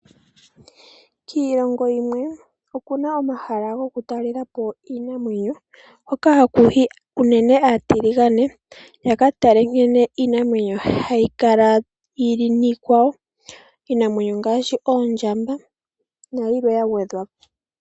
Kiilongo yimwe okuna omahala goku talelapo iinamwenyo hoka hakuyi uunene aatiligane yaka tale nkene iinamwenyo hayi kala yili nikwawo. Iinamwenyo ngaashi oondjamba nayilwe ya gwedhwapo.